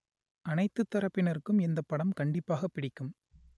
அனைத்துத் தரப்பினருக்கும் இந்தப் படம் கண்டிப்பாகப் பிடிக்கும்